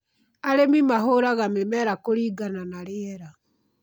Arĩmi mahũraga mĩmera kũringana na rĩera